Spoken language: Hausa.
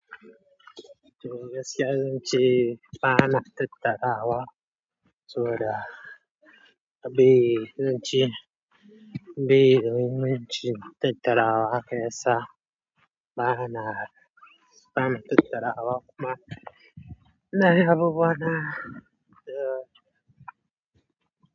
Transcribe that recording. Gaskiya zan ce ba na tatarawa sobada abun zan ce bai yi min cin tatarawa ha ka ya sa ba na tatarawa kuma, ina yin abubuwa na.